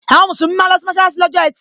Àwọn musulumi máa ń losi mọsalasi lọ́jọ́ etí.